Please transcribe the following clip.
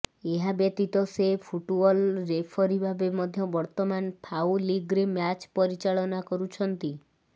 ଏହାବ୍ୟତୀତ ସେ football referee ଭାବେ ମଧ୍ୟ ବର୍ତ୍ତମାନ ଫାଓ ଲିଗ୍ରେ ମ୍ୟାଚ୍ ପରିଚାଳନା କରୁଛନ୍ତି